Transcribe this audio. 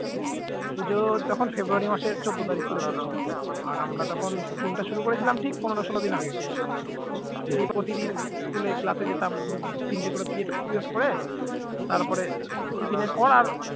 পুজো তখন ফেব্রুয়ারি মাসের চৌদ্দ তারিখ করে পড়েছিল আর আমরা তখন theme টা শুরু করেছিলাম ঠিক পনের ষোল দিন আগে, দিন প্রতিদিন school এ class এ যেতাম তিনটে করে period period করে তারপরে tiffin এর পর আর